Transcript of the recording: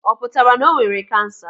Ọ pụtara na o nwere kansa?